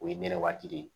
O ye ne waati de ye